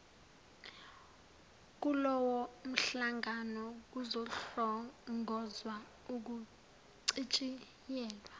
kulowomhlangano kuzohlongozwa ukucitshiyelwa